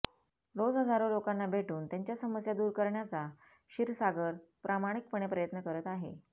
रोज हजारो लोकांना भेटून त्यांच्या समस्या दूर करण्याचा क्षीरसागर प्रामाणिकपणे प्रयत्न करत आहे